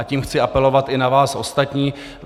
A tím chci apelovat i na vás ostatní.